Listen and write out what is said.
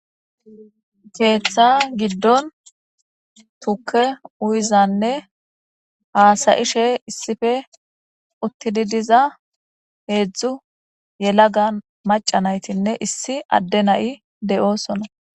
Keeththa giddon tuke uyizanne haasayishe issife uttidi diza heedzdzu yelaga macanaytinne issi adde na7i de7oosona.